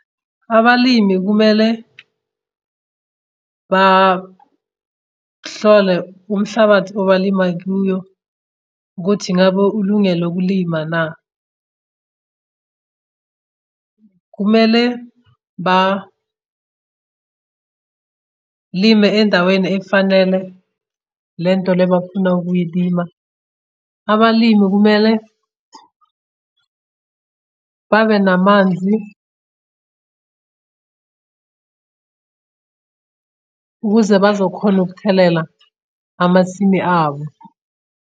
Abalimi kumele hlole umhlabathi obalima kuyo, ukuthi ingabe ulungele ukulima na. Kumele lime endaweni efanele le nto le bafuna ukuyilima. Abalimi kumele babe namanzi ukuze bazokhona ukuthelela amasimi abo.